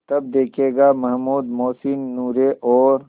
तब देखेगा महमूद मोहसिन नूरे और